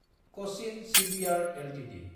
Cochin shipyard Ltd